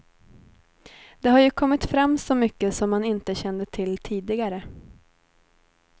Det har ju kommit fram så mycket som man inte kände till tidigare.